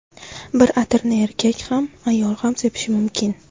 Bir atirni erkak ham, ayol ham sepishi mumkin.